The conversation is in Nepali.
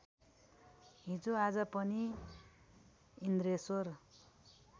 हिजोआज पनि इन्द्रेश्वर